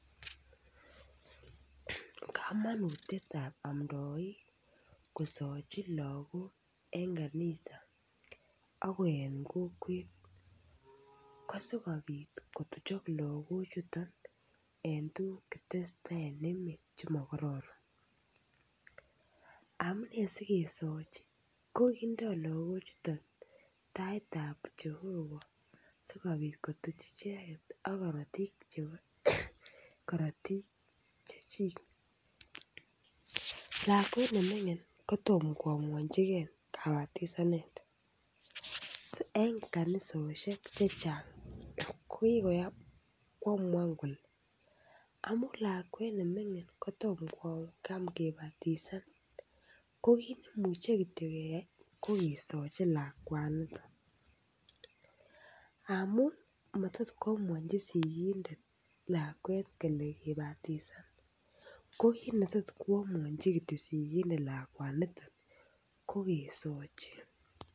Kamanutiet ap amdoik kosochi lagok eng kanisa ako eng kokwet ko sikopit kochop lakochuton en tukuk che tesetai eng emet che ma karoron. Amune sikesachi ko kindoi lakochuton taitab Jehovah sikopit kotuch icheket ak karotik chebo, karotik chechik. Lakwet ne mining' ko tomo koamwanchikei kabatisanet. So, eng' kanisoshek chechang' ko kikoyap koamuan kole amu lakwet ne mining' ko tomo koyam kibatisan ko kineimuche kityo keyai ko kesachi lakwaniton. Amun matot koamuanchi sikindet lakwet kole kibatisan. Ko kit netot koamuanchi kityo sikindet lakwanitan ko kesochi.